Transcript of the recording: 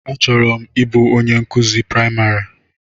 Achọrọ m ịbụ onye nkụzi praịmarị.